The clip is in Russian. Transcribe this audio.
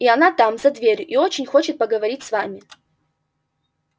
и она там за дверью и очень хочет поговорить с вами